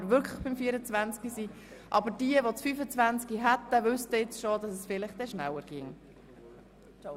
Wir würden diese Frage nochmals anschauen, wenn es wirklich soweit käme.